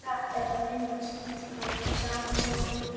Er þetta ekki meira eða minna sama tóbakið?